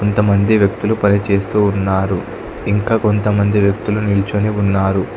కొంత మంది వ్యక్తులు పని చేస్తూ ఉన్నారు ఇంకా కొంతమంది వ్యక్తులు నిల్చొని ఉన్నారు.